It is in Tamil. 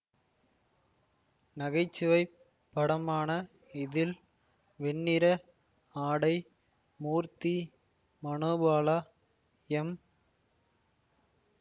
நகைச்சுவைப் படமான இதில் வெண்ணிற ஆடை மூர்த்தி மனோபாலா எம்